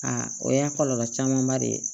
Aa o y'a kɔlɔlɔ camanba de ye